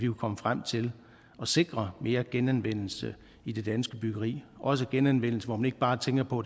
komme frem til at sikre mere genanvendelse i det danske byggeri også genanvendelse hvor man ikke bare tænker på